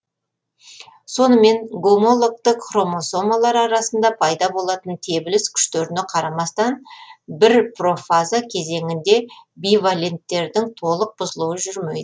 сонымен гомологтік хромосомалар арасында пайда болатын тебіліс күштеріне қарамастан бір профаза кезеңінде биваленттердің толық бұзылуы жүрмейді